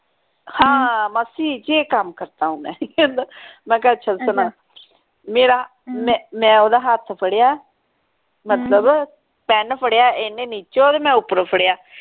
ਹਾਂ ਮਾਸੀ ਜੇ ਕਾਮ ਕਰਤਾ ਹੂੰ ਮੈਂ ਮੈਂ ਕਿਹਾ ਅੱਛਾ ਚਲ ਸੁਣਾ ਮੇਰਾ ਮੈਂ ਓਹਦਾ ਹੱਥ ਫੜਿਆ ਮਤਲਬ ਪੇਂ ਫੜਿਆ ਇਹਨੇ ਨੀਚੇ ਵੱਲ ਮੈਂ ਉਪਰੋਂ ਫੜਿਆ